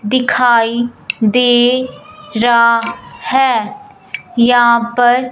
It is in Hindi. दिखाई दे रहा है यहां पर--